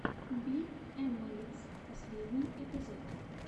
би эмэйзд последний эпизод